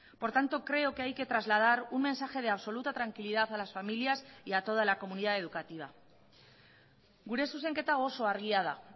por tanto creo que hay que trasladar un mensaje de absoluta tranquilidad a las familias y a toda la comunidad educativa gure zuzenketa oso argia da